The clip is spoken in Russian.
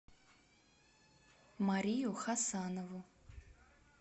марию хасанову